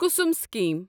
Kusum scheme